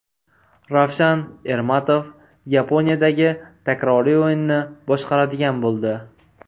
Ravshan Ermatov Yaponiyadagi takroriy o‘yinni boshqaradigan bo‘ldi.